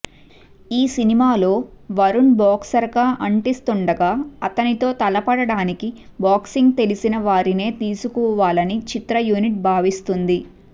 ఈ సినిమాలో వరుణ్ బాక్సర్ గా అంటిస్తుండగా అతనితో తలపడటానికి బాక్సింగ్ తెలిసిన వారినే తీసుకోవాలని చిత్ర యూనిట్ భావిస్తుంది